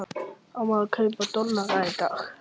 Á maður að kaupa dollara í dag?